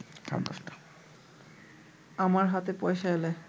আমার হাতে পয়সা এলে